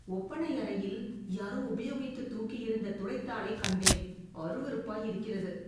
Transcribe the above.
ஒப்பனை அறையில் யாரோ உபயோகித்துத் தூக்கியெறிந்த துடைத்தாளைக் கண்டேன். அருவருப்பாய் இருக்கிறது.